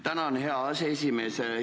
Tänan, hea aseesimees!